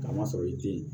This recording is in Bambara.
K'a ma sɔrɔ i tɛ